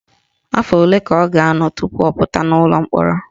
Afọ ole ka ọ ga-anọ tupu ọ pụta n'ụlọ mkpọrọ?